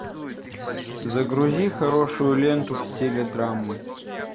загрузи хорошую ленту в стиле драмы